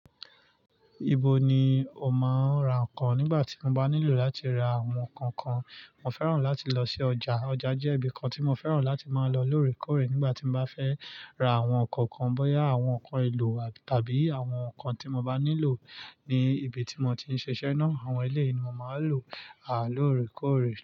Ibo ni o máa ń ra nǹkan nígbà tí o bá nílò láti ra àwọn nǹkan kan? Mo fẹ́ràn láti lọ sí ọjà. Ọjà jẹ́ ibi kan tí mo fẹ́ràn láti máa lọ lóòrèkóòrè nígbà tí mo bá fẹ́ ra àwọn nǹkan kan, bóyá àwọn nǹkan ìlò tàbí àwọn nǹkan tí mo bá nílò ní ibi tí mo ti ń ṣiṣẹ́ ná. Àwọn ilé yìí ni mo máa ń lọ lóòrèkóòrè.